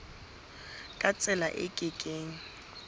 ka tsela e ke keng